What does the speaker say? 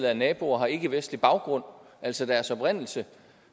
af naboer har ikkevestlig baggrund altså deres oprindelse